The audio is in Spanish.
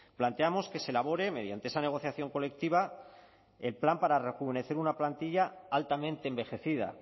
planteamos que se elabore mediante esa negociación colectiva el plan para rejuvenecer una plantilla altamente envejecida